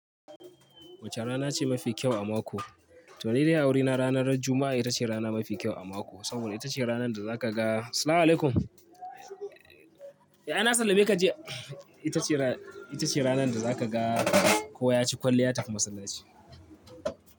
Wace rana ce mafi kyau a mako? To ni dai a wurina ranar Juma'a ita ce rana mafi kyau a mako. Saboda ita ce ranar da za ka ga Salamu alaikum. Eh, ana sallame ka jiya. Ita ce ra-- ita ce ranar da za ka ga kowa ya ci kwalliya ya tafi masallaci.